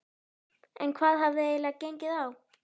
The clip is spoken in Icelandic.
En hvað hafði eiginlega gengið á?